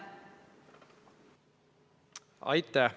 Aitäh!